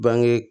Bange